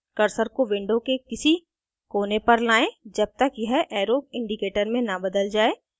cursor को window के किसी कोने पर लाएं जब तक यह arrow indicator में न बदल जाये